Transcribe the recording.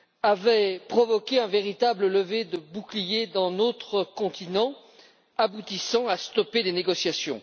avaient provoqué une véritable levée de boucliers sur notre continent aboutissant à stopper les négociations?